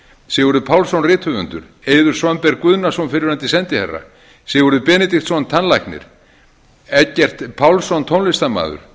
sigurður pálsson rithöfundur eiður svanberg guðnason fyrrverandi sendiherra sigurður benediktsson tannlæknir eggert pálsson tónlistarmaður